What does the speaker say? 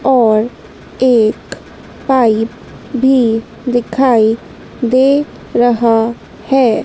और एक पाइप भी दिखाई दे रहा है।